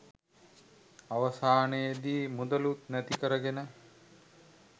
අවසානයේදී මුදලුත් නැති කරගෙන